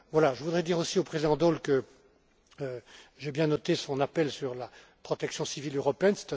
Je voudrais dire aussi au président Daul que j'ai bien noté son appel sur la protection civile européenne.